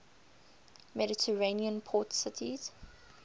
mediterranean port cities